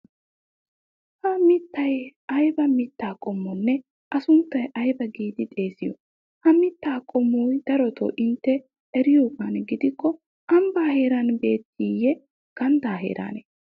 Ha mittay ayba mittaa qommoonne. A sunttaa aybaa giidi xeesiyo? Ha mittaa qommo darotoo intte eriyogaadan gidikko ambbaa heeran bewttiiyye ganddaa heeraanee?